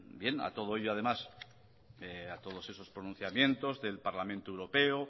bien a todo a ello además a todos esos pronunciamientos del parlamento europeo